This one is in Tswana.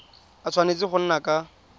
a tshwanetse go nna ka